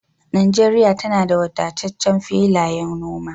Najeriya tana da wadataccen filayen noma